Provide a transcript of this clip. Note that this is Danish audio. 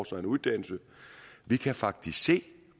sig en uddannelse vi kan faktisk se